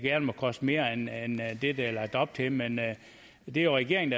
må koste mere end det der er lagt op til men det er jo regeringen